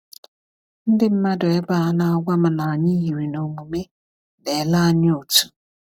Ndị mmadụ ebe a na-agwa m na anyị yiri na omume na-ele anya otu.